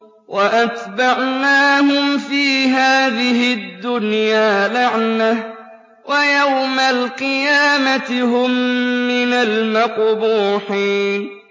وَأَتْبَعْنَاهُمْ فِي هَٰذِهِ الدُّنْيَا لَعْنَةً ۖ وَيَوْمَ الْقِيَامَةِ هُم مِّنَ الْمَقْبُوحِينَ